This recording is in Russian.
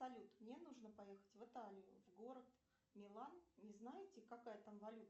салют мне нужно поехать в италию в город милан не знаете какая там валюта